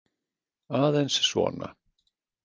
Aðeins svona.